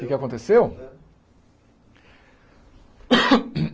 O que é que aconteceu? É